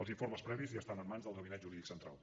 els informes previs ja estan en mans del gabinet jurídic central